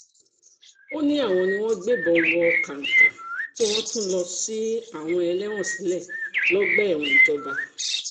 ó ní àwọn ni wọ́n gbébọn wọ kàǹkà tí wọ́n tún lọ́ọ́ ṣí àwọn ẹlẹ́wọ̀n sílẹ̀ lọ́gbà ẹ̀wọ̀n ìjọba